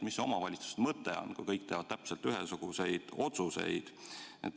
Mis see omavalitsuste mõte siis on, kui kõik teevad täpselt ühesuguseid otsuseid?